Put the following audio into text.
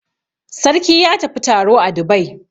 Sarki ya tafi taro a Dubai.